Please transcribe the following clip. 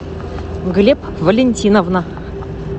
глеб валентиновна